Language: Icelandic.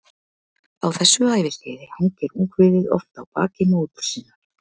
Á þessu æviskeiði hangir ungviðið oft á baki móður sinnar.